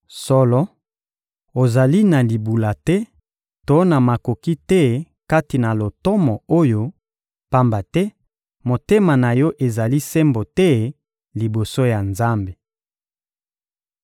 Solo, ozali na libula te to na makoki te kati na lotomo oyo, pamba te motema na yo ezali sembo te liboso ya Nzambe.